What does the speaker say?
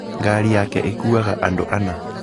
Ngari yake ĩkuuaga andũ ana